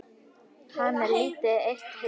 Hann er lítið eitt hissa.